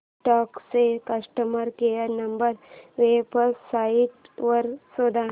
Kodak चा customer care number website वर शोध